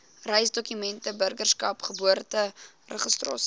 reisdokumente burgerskap geboorteregistrasie